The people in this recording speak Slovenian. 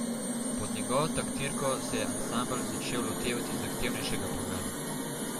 Pod njegovo taktirko se je ansambel začel lotevati zahtevnejšega programa.